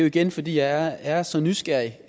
igen fordi jeg er så nysgerrig